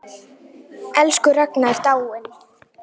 Elsku Ragna er dáin.